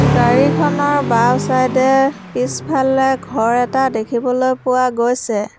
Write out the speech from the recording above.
গাড়ীখনৰ বাওঁ-ছাইডে এ পিছফালে ঘৰ এটা দেখিবলৈ পোৱা গৈছে।